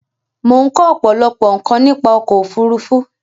Mo n ko òpòlopò nkàn nípa ọkò òfurufú